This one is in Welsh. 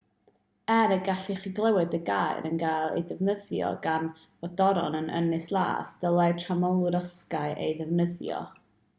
er y gallech chi glywed y gair yn cael ei ddefnyddio gan frodorion yr ynys las dylai tramorwyr osgoi ei ddefnyddio